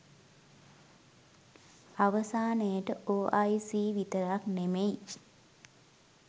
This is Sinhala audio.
අවසානයට ඔ අයි සී විතරක් නෙමෙයි